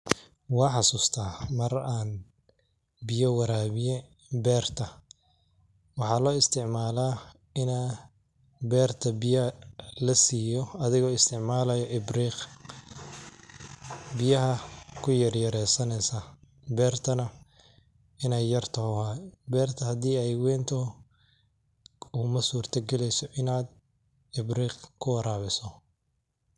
Wan xasusta mar an beyo warabi berta, waxa loistacmala ina berta biya lasiyo adhigo istacmalaya ibriq, biyaha kuyaryareysaneysa bertana inay yarta waye, berto hadi ay weynta kumasurta galeyso inad ibriq kuwarabisid.